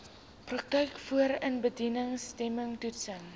praktyk voorindiensneming toetsing